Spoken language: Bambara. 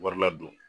Wari ladon